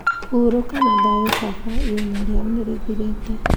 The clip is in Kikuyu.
(Huuroka na thayũ baba, ihenya rĩao nĩ rĩthirĩte.)